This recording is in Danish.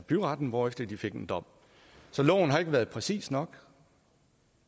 byretten hvorefter de fik en dom så loven har ikke været præcis nok